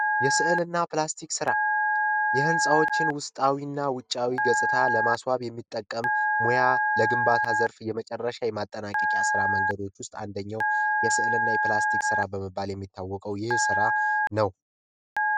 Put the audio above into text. የስዕልና ፕላስቲክ ስራ የህንፃዎችን ውስጣዊና ውጫዊ ገጽታ ለማስዋብ የሚጠቀም ሙያዊ የግንባታ ዘርፍ የመጨረሻ የማጠናቀቂያ ሥራዎች ውስጥ አንደኛው የስዕልና የፕላስቲክ ስራ በመባል የሚታወቀው ይህ ስራ ነው።